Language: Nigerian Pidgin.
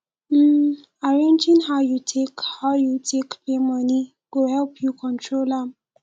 um arranging how yu take how yu take pay moni go help yu control am